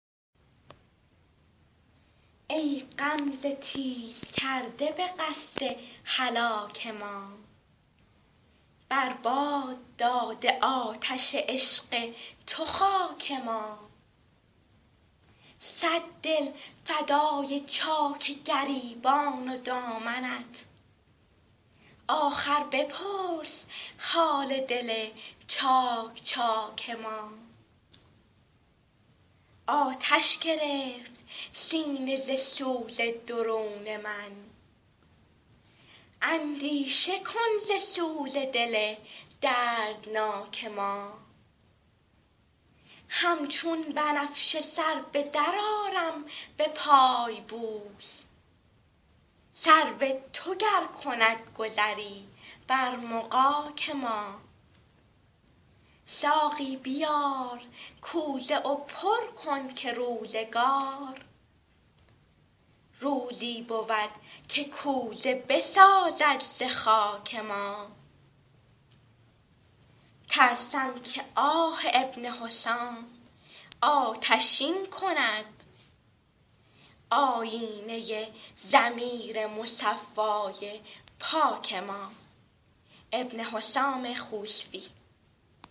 ای غمزه تیز کرده به قصد هلاک ما بر باد داده آتش عشق تو خاک ما صد دل فدای چاک گریبان و دامنت آخر بپرس حال دل چاک چاک ما آتش گرفت سینه ز سوز درون من اندیشه کن ز سوز دل دردناک ما همچون بنفشه سر بدر آرم به پای بوس سرو تو گر کند گذری بر مغاک ما ساقی بیار کوزه و پر کن که روزگار روزی بود که کوزه بسازد ز خاک ما ترسم که آه ابن حسام آتشین کند آیینه ضمیر مصفای پاک ما